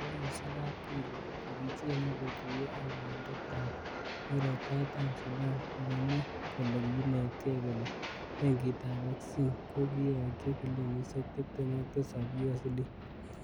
Kiwo yusung kapkirwok, kokichenge kotuyo akaondit ab Murot Katam sudan, kokomwa kole kinetgee kole Benkitab Exim ko kiyokyi bilionisiek tibtem ak tisap USD.